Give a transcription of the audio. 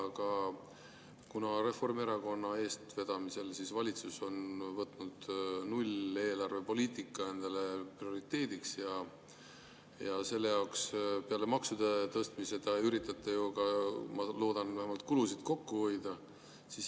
Aga Reformierakonna eestvedamisel on valitsus võtnud endale prioriteediks nulleelarvepoliitika ja selle jaoks peale maksude tõstmise te üritate ju ka – ma loodan vähemalt – kulusid kokku hoida.